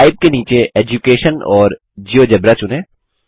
type के नीचे education और जियोजेब्रा चुनें